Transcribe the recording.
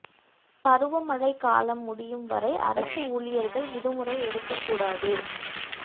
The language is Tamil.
பருவமழை காலம் முடியும் வரை அரசு ஊழியர்கள் விடுமுறை எடுக்கக் கூடாது